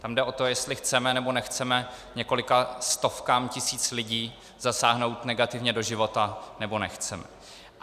Tam jde o to, jestli chceme, nebo nechceme několika stovkám tisíc lidí zasáhnout negativně do života, nebo nechceme.